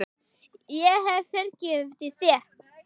Ég hef fyrirgefið þér.